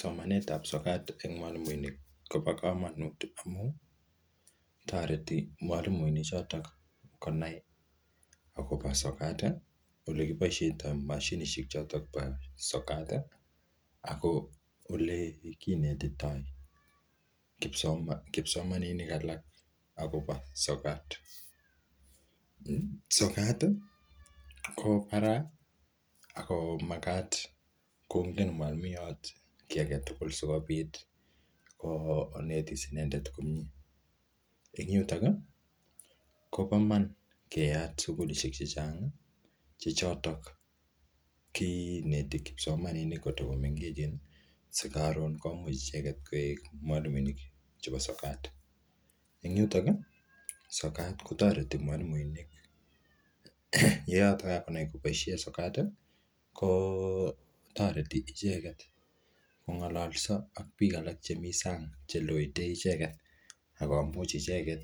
Somanet ap sokat eng mwalimuinik kobo komonut amu, toreti mwalimuinik chotok konai akopo sokat, ole kiboisietoi mashinishek chitok po sokat, ako olle kinetitoi kipsomaninik alak akobo sokat. Sokat, ko barai ako magat kongen mwalimuiyot kiy age tugul sikobit konetis inendet komyee. Eng yutok, kobo man keyat sukulishek chechang, che chotok kineti kipsomaninik kotiko mengechen. Si karon komuch icheket koek mwalimunik chebo sokat. Eng yutok, sokat kotoreti mwalimuinik. um Ye yotok kakonai koboisie sokat, kotoreti icheket kongalalso ak biik alak che mii sang che loete icheket, akomuch icheket